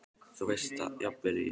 Þú veist það jafnvel og ég.